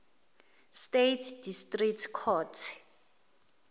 states district court